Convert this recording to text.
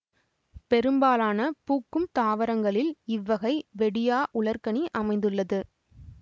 பெரும்பாலான பூக்கும் தாவரங்களில் இவ்வகை வெடியா உலர்கனி அமைந்துள்ளது